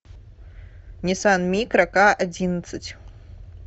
ниссан микро ка одиннадцать